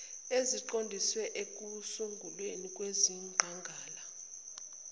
eziqondiswe ekusungulweni kwezingqala